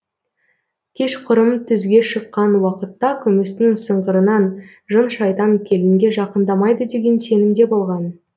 кешқұрым түзге шыққан уақытта күмістің сыңғырынан жын шайтан келінге жақындамайды деген сенімде болған